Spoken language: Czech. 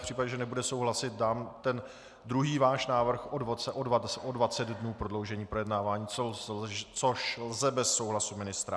V případě, že nebude souhlasit, dám ten váš druhý návrh o 20 dnů prodloužení projednávání, což lze bez souhlasu ministra.